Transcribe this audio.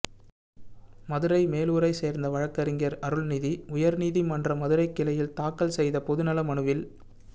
மதுரை மேலூரை சேர்ந்த வழக்கறிஞர் அருண்நிதி உயர்நீதிமன்ற மதுரைக்கிளையில் தாக்கல் செய்த பொதுநல மனுவில்